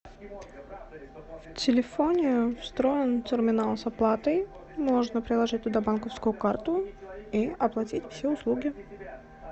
в телефоне встроен терминал с оплатой можно приложить туда банковскую карту и оплатить все услуги